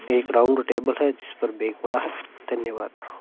एक round table है जिस पर बैग पड़ा है धन्यवाद।